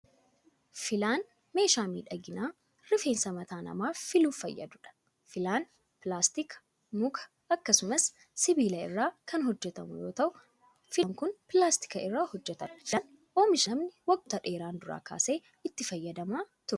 Filaan ,meeshaa miidhaginaa rifeensa mataa namaa filuuf fayyaduu dha. Filaan pilaastika, muka akkasumas sibiila irraa kan hojjatamu yoo ta'u, filaan kun pilaastika irraa hojjatame. Filaan oomisha namni waggoota dheeraan dura kaasee itti fayyadamaa turee dha.